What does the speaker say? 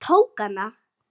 Ég tók hana.